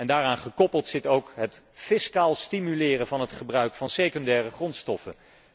Daaraan gekoppeld zit ook het fiscaal stimuleren van het gebruik van secundaire grondstoffen.